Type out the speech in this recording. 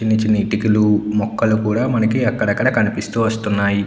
చిన్ని చిన్ని ఇటికలు మొక్కలు కూడా మనకి అక్కడక్కడా కనిపిస్తూ వస్తున్నాయి.